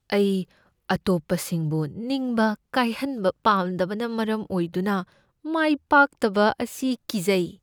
ꯑꯩ ꯑꯇꯣꯞꯄꯁꯤꯡꯕꯨ ꯅꯤꯡꯕ ꯀꯥꯏꯍꯟꯕ ꯄꯥꯝꯗꯕꯅ ꯃꯔꯝ ꯑꯣꯏꯗꯨꯅ ꯃꯥꯏ ꯄꯥꯛꯇꯕ ꯑꯁꯤ ꯀꯤꯖꯩ ꯫